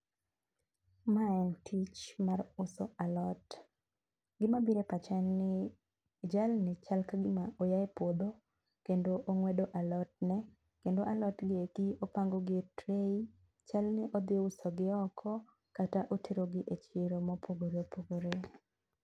Mae en tich mar uso alot. Gi mabire epacha en ni jalni chal ka go moa e puodho kendo ong'wedo alotne. kendo alotgi eki opangogi e tray, chalni odhi usogi oko kata oterogi e chiro mopogore opogore.